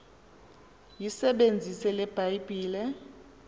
yisebenzise le bhayibhile